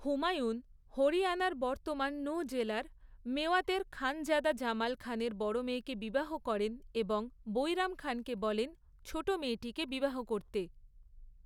হুমায়ুন হরিয়ানার বর্তমান নূহ জেলার মেওয়াতের খানজাদা জামাল খানের বড় মেয়েকে বিবাহ করেন এবং বৈরাম খানকে বলেন ছোট মেয়েটিকে বিবাহ করতে।